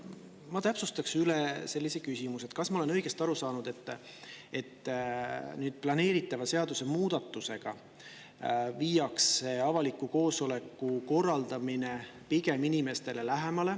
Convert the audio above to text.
Ma täpsustaksin üle, et kas ma olen õigesti aru saanud, et planeeritava seadusemuudatusega viiakse avaliku koosoleku korraldamine inimestele pigem lähemale.